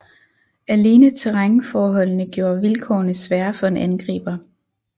Alene terrænforholdende gjorde vilkårene svære for en angriber